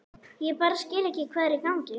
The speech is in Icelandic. Ég bara skil ekki hvað er í gangi.